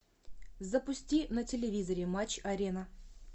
запусти на телевизоре матч арена